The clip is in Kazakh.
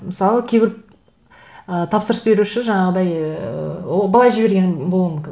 мысалы кейбір ы тапсырыс беруші жаңағыдай ііі былай жіберген болуы мүмкін